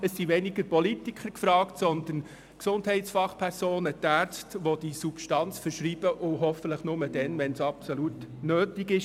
Es sind weniger die Politiker gefragt als vielmehr die Gesundheitsfachpersonen, die Ärzte, die diese Substanz verschreiben und dies hoffentlich nur dann tun, wenn es absolut nötig ist.